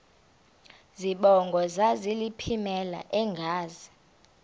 zibongo zazlphllmela engazi